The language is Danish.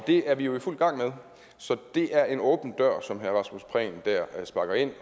det er vi jo i fuld gang med så det er en åben dør som herre rasmus prehn der sparker ind